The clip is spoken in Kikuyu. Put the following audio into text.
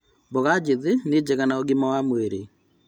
Mboga njĩthĩ nĩ njega na ũgima wa mwĩrĩ